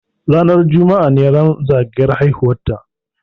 Ranar juma'a ne ran zagayan haihuwar ta